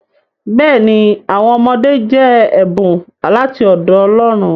Bẹẹni, awọn ọmọde jẹ ẹbun lati ọdọ Ọlọ́run.